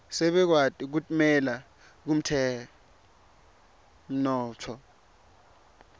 sebakwati kutimela kutemnotfo